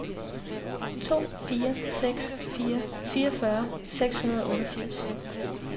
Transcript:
to fire seks fire fireogfyrre seks hundrede og otteogfirs